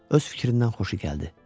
Öz fikrindən xoşu gəldi.